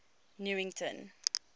newington